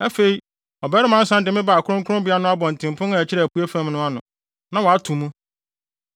Afei ɔbarima no san de me baa kronkronbea no abɔntenpon a ɛkyerɛ apuei fam no ano, na wɔato mu.